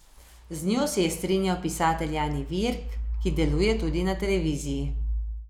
Z njo se je strinjal pisatelj Jani Virk, ki deluje tudi na televiziji.